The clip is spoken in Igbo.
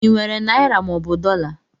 I nwere naịra mọobụ dọla?